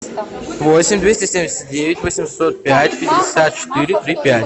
восемь двести семьдесят девять восемьсот пять пятьдесят четыре три пять